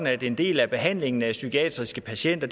at en del af behandlingen af psykiatriske patienter